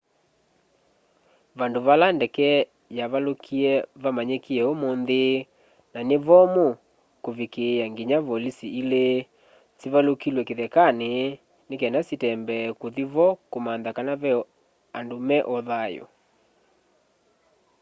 vandu vala ndeke yavalukie vamanyikie umunthi na ni vomu kuvikiia nginya volisi ili sivalukilw'e kithekani ni kana sitembee kuthi vo kumantha kana ve andu me o thayu